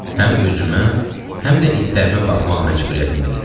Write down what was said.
Həm özümə, həm də itlərimə baxmaq məcburiyyətində idim.